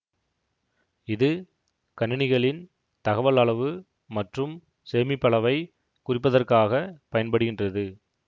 இது கணினிகளின் தகவல் அளவு மற்றும் சேமிப்பளவைக் குறிப்பதற்காகப் பயன்படுகின்றது